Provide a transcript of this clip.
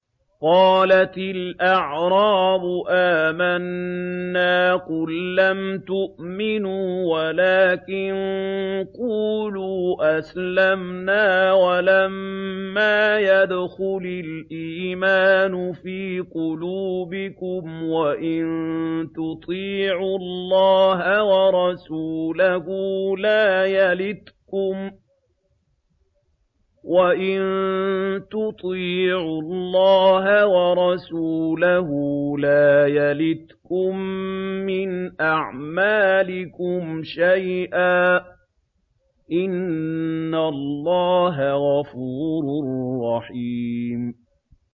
۞ قَالَتِ الْأَعْرَابُ آمَنَّا ۖ قُل لَّمْ تُؤْمِنُوا وَلَٰكِن قُولُوا أَسْلَمْنَا وَلَمَّا يَدْخُلِ الْإِيمَانُ فِي قُلُوبِكُمْ ۖ وَإِن تُطِيعُوا اللَّهَ وَرَسُولَهُ لَا يَلِتْكُم مِّنْ أَعْمَالِكُمْ شَيْئًا ۚ إِنَّ اللَّهَ غَفُورٌ رَّحِيمٌ